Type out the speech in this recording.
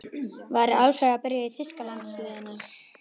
Væri Alfreð að byrja í þýska landsliðinu?